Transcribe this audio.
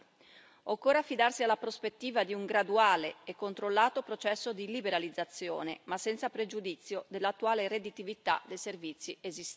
Occorre affidarsi alla prospettiva di un graduale e controllato processo di liberalizzazione, ma senza pregiudizio dell'attuale redditività dei servizi esistenti.